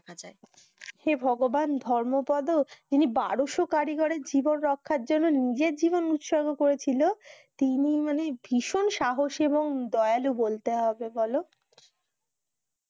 হে ভগবান ধর্মপদ তিনি বারোসো কারিগরের জীবন রাখার জন্য নিজের জীবন উৎসর্গ করেছিল তিনি ভীষণ সাহসী এবং দয়ালু বলতে হবে বলো